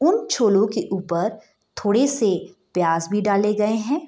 उन छोलों की ऊपर थोड़े से प्याज भी डाले गए। हैं।